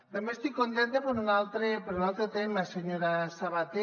també estic contenta per un altre tema senyora sabater